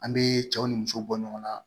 An bɛ cɛw ni musow bɔ ɲɔgɔn na